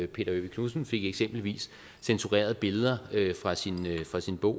peter ø knudsen fik eksempelvis censureret billeder fra sin fra sin bog